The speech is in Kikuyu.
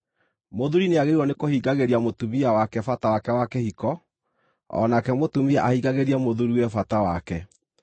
Mũthuuri nĩagĩrĩirwo nĩ kũhingagĩria mũtumia wake bata wake wa kĩhiko, o nake mũtumia ahingagĩrie mũthuuriwe bata wake.